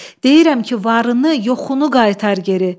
Deyirəm ki, varını, yoxunu qaytar geri.